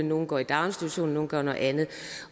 nogle går i daginstitution og nogle gør noget andet